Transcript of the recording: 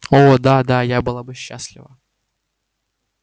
о да да я была бы счастлива